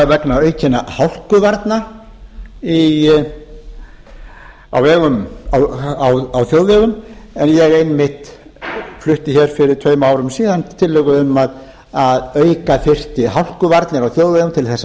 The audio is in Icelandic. vegna aukinna hálkuvarna á þjóðvegum en ég flutti einmitt hér fyrir tveim árum síðan tillögu um að auka þyrfti hálkuvarnir á þjóðvegum til þess að